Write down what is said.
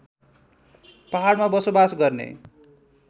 पहाडमा बसोबास गर्ने